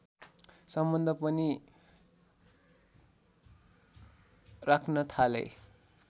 सम्बन्ध पनि राख्न थाले